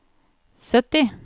sytti